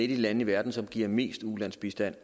de lande i verden som giver mest ulandsbistand